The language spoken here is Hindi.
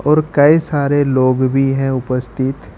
और कई सारे लोग भी हैं उपस्थित।